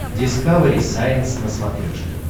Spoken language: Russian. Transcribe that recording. дискавери сайенс на смотрешке